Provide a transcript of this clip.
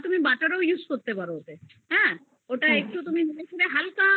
তুমি butter ও use করতে পারো হ্যা ওটা দেখবে তুমি হালকা